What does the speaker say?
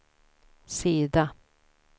sida